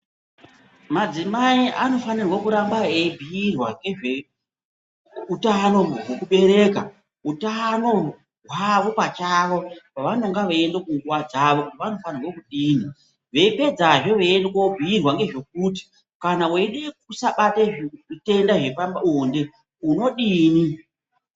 Madzimai anofanirwe kuramba eibhiirwa ngezveutano hwekubereka, utano hwavo pachavo, pavanonga veiende kunguva dzavo vanofanirwe vanodini. Vopedzazve veiende kobhuirwa ngezvekuti kana weide kusabate zvitenda zvepabonde ,unodini.